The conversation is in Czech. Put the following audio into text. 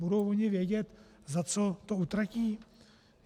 Budou oni vědět, za co to utratí?